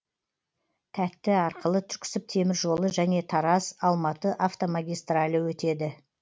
тәтті арқылы түрксіб темір жолы және тараз алматы автомагистралі өтеді